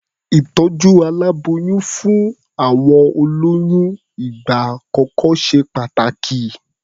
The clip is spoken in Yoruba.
Ìtọ̀jú aláboyún fún àwọn olóyún ìgbà àkọ́kọ́ ṣe pàtàkì.